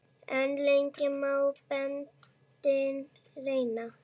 En lengi má beltin reyna.